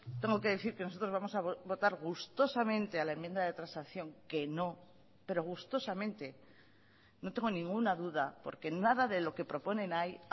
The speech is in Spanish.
tengo que decir que nosotros vamos a votar gustosamente a la enmienda de transacción que no pero gustosamente no tengo ninguna duda porque nada de lo que proponen ahí